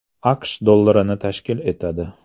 AQSh dollarini tashkil etadi.